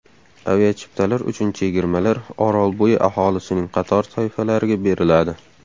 Aviachiptalar uchun chegirmalar Orolbo‘yi aholisining qator toifalariga beriladi.